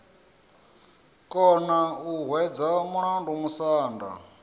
kona u hwedza mulandu musanda